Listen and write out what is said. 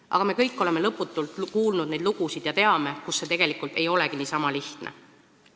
Aga me kõik oleme lõputult kuulnud neid lugusid ja teame, et tegelikult see ei olegi niisama lihtne.